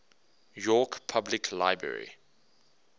york public library